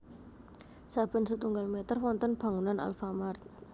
Saben setunggal meter wonten bangunan Alfamart